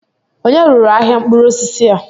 Ònye rụrụ ahịa mkpụrụ osisi a?